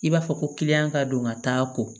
I b'a fɔ ko ka don ka taa ko